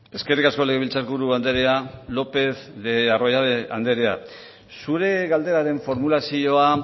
eskerrik asko legebiltzarburu andrea lopez de arroyabe andrea zure galderaren formulazioa